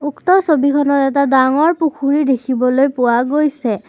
উক্ত ছবিখনত এটা ডাঙৰ পুখুৰী দেখিবলৈ পোৱা গৈছে।